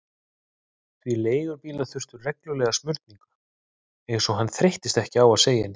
Því leigubílar þurftu reglulega smurningu, eins og hann þreyttist ekki á að segja henni.